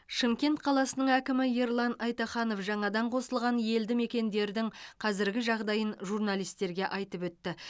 шымкент қаласының әкімі ерлан айтаханов жаңадан қосылған елді мекендердің қазіргі жағдайын журналистерге айтып өтті